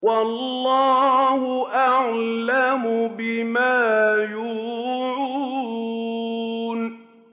وَاللَّهُ أَعْلَمُ بِمَا يُوعُونَ